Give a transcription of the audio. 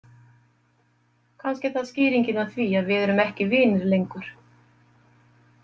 Kannski er það skýringin á því að við erum ekki vinir lengur.